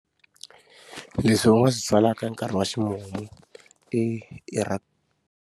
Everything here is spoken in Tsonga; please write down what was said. Leswi u nga swi byalaka hi nkarhi wa ximumu i i .